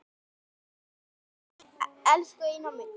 Elsku Einar minn.